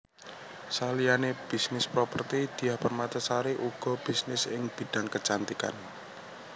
Saliyane bisnis properti Diah Permatasari uga bisnis ing bidhang kecantikan